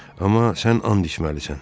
Amma sən and içməlisən.